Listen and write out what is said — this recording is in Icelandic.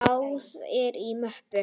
Blaðar í möppu.